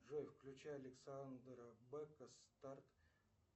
джой включай александра бэка старт